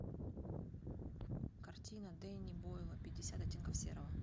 картина дэнни бойла пятьдесят оттенков серого